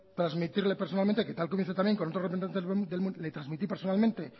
transmitirle personalmente que tal como hice también con otro representante le transmití personalmente